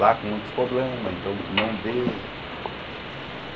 Lá com muitos problemas, então não deu.